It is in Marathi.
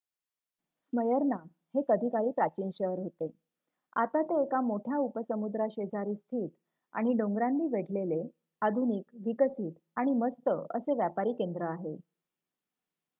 स्मयर्ना हे कधी काळी प्राचीन शहर होते आता ते एका मोठ्या उपसमुद्राशेजारी स्थित आणि डोंगरांनी वेढलेले आधुनिक विकसित आणि व्यस्त असे व्यापारी केंद्र आहे